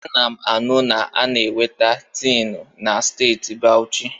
Ana m anu na a na-enweta tiinụ na Steeti Bawuchi.